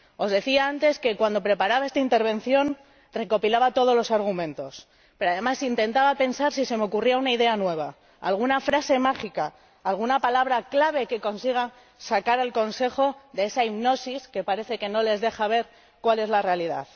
Decía antes que, cuando preparaba esta intervención, recopilaba todos los argumentos, pero además intentaba pensar si se me ocurría alguna idea nueva, alguna frase mágica, alguna palabra clave que consiga sacar al Consejo de esa hipnosis que parece que no les deja ver cuál es la realidad.